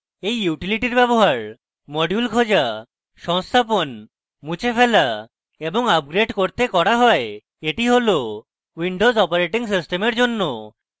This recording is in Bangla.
এই utility ব্যবহার